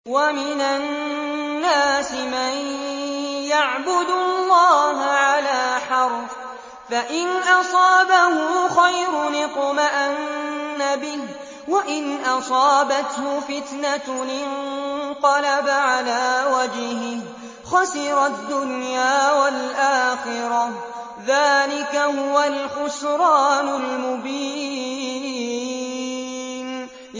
وَمِنَ النَّاسِ مَن يَعْبُدُ اللَّهَ عَلَىٰ حَرْفٍ ۖ فَإِنْ أَصَابَهُ خَيْرٌ اطْمَأَنَّ بِهِ ۖ وَإِنْ أَصَابَتْهُ فِتْنَةٌ انقَلَبَ عَلَىٰ وَجْهِهِ خَسِرَ الدُّنْيَا وَالْآخِرَةَ ۚ ذَٰلِكَ هُوَ الْخُسْرَانُ الْمُبِينُ